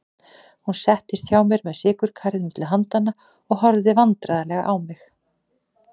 Hún settist hjá mér með sykurkarið milli handanna og horfði vandræðaleg á mig.